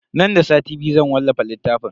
Nan da sati biyu zan wallafa littafin.